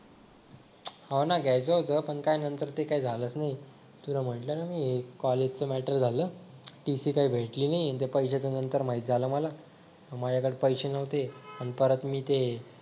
हो ना घ्यायचं होतं पण काय नंतर काय ते झालंच नाही तुला म्हटलं ना मी कॉलेजच मॅटर झालं TC काही भेटली नाही आणि ते पैशाचं नंतर माहीत झालं मला माझ्याकडे पैसे नव्हते आणि परत मी ते